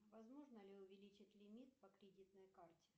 возможно ли увеличить лимит по кредитной карте